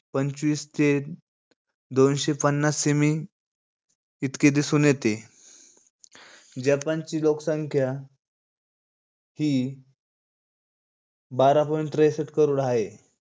पंचवीस ते दोनशे पन्नास semi इतके दिसून येते जपानची लोकसंख्या हि बारा point त्रेसट करोड हाये.